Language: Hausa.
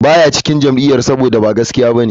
Ba ya cikin jam'iyyar saboda ba gaskiya ba ne,